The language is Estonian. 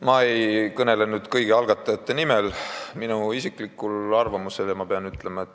Ma ei kõnele nüüd kõigi algatajate nimel, vaid väljendan isiklikku arvamust.